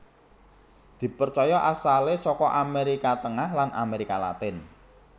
Dipercaya asalé saka Amérika Tengah lan Amérika Latin